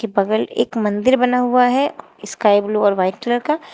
की बगल एक मंदिर बना हुआ है स्काई ब्लू और व्हाइट कलर का।